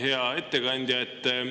Hea ettekandja!